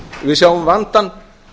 við sjáum vandann